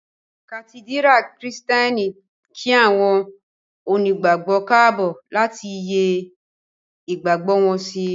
Kàtídírà kìrììtẹ́nì kí àwọn onígbàgbọ́ káàbọ̀ láti yẹ́ ìgbàgbọ́ wọn sí